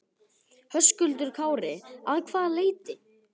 Höskuldur Kári: Að hvaða leyti?